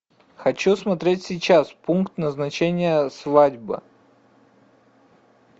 хочу смотреть сейчас пункт назначения свадьба